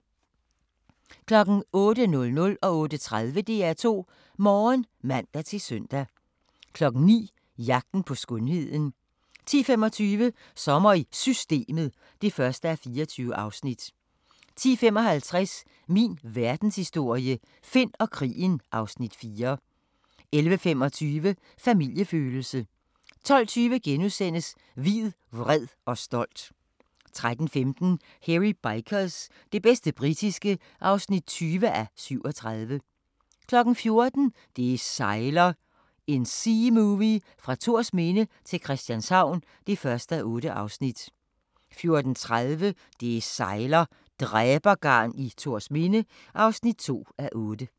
08:00: DR2 Morgen (man-søn) 08:30: DR2 Morgen (man-søn) 09:00: Jagten på skønheden 10:25: Sommer i Systemet (1:24) 10:55: Min Verdenshistorie – Finn og krigen (Afs. 4) 11:25: Familiefølelse 12:20: Hvid, vred og stolt * 13:15: Hairy Bikers – det bedste britiske (20:37) 14:00: Det sejler – en seamovie fra Thorsminde til Christianshavn (1:8) 14:30: Det sejler - dræbergarn i Thorsminde (2:8)